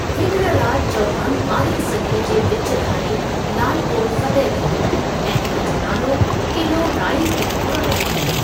विग्रहराज चौहान ॿारहीं सदीअ जे विचु धारे लाल कोट फ़तह कयो ऐं उन जो नालो क़िलो राइ पिथौरा रखियईं।